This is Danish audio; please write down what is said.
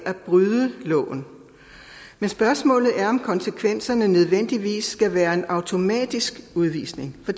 at bryde loven men spørgsmålet er om konsekvenserne nødvendigvis skal være en automatisk udvisning for